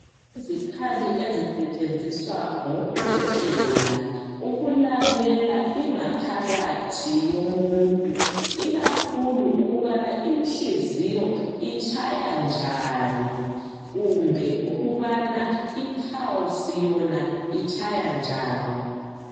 Izikhali ezisetshenziswa ngodokotela ukulalela ingaphakathi yomuntu. Ikakhulu ukubana inhliziyo itshaya njani kumbe ukubana ipulse Yona itshaya njani.